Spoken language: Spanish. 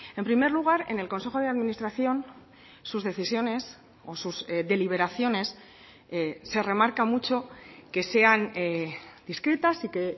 en primer lugar en el consejo de administración sus decisiones o sus deliberaciones se remarca mucho que sean discretas y que